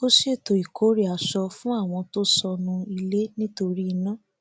ó ṣètò ìkórè aṣọ fún àwọn tó sọnù ilé nítorí iná